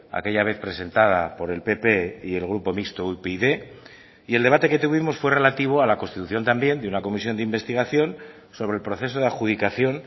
aquella vez presentada por el pp y el grupo mixto upyd y el debate que tuvimos fue relativo a la constitución también de una comisión de investigación sobre el proceso de adjudicación